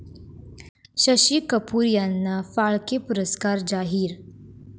शशी कपूर यांना फाळके पुरस्कार जाहीर